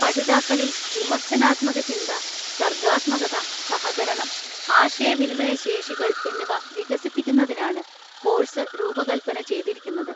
പഠിതാക്കളിൽ വിമർശനാത്മകചിന്ത, സർഗ്ഗാത്മകത, സഹകരണം, ആശയവിനിമയശേഷികൾ എന്നിവ വികസിപ്പിക്കുന്നതിനാണ് കോഴ്‌സ് രൂപകൽപ്പന ചെയ്തിരിക്കുന്നത്.